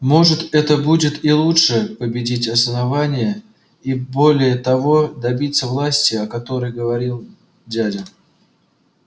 может это будет и лучше победить основание и более того добиться власти о которой говорил дядя